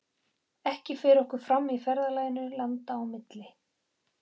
Ekki fer okkur fram í ferðalaginu landa á millum.